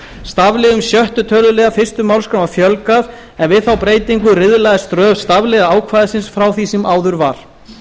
stafliðum sjötta töluliðar fyrstu málsgrein var fjölgað en við þá breytingu riðlaðist röð stafliða ákvæðisins frá því sem áður var